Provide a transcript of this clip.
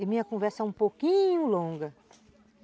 E minha conversa é um pouquinho longa.